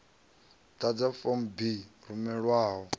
ḓadze form b i rumelwaho